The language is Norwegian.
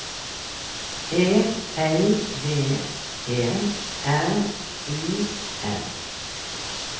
E L V E R U M